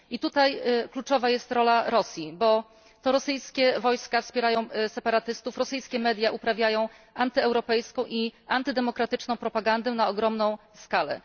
I tutaj kluczowa jest rola Rosji, bo to rosyjskie wojska wspierają separatystów, rosyjskie media uprawiają antyeuropejską i antydemokratyczną propagandę na ogromna skalę.